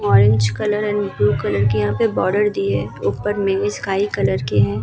orange colour and blue colour के यहाँ पे बॉर्डर दिये हैं | ऊपर मिनी स्काई कलर की है |